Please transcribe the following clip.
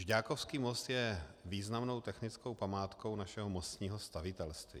Žďákovský most je významnou technickou památkou našeho mostního stavitelství.